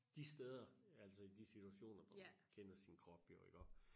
De steder altså i de situationer hvor man kender sin krop jo iggå